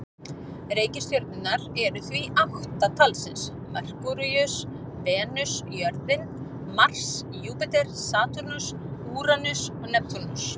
Reikistjörnurnar eru því átta talsins: Merkúríus, Venus, jörðin, Mars, Júpíter, Satúrnus, Úranus og Neptúnus.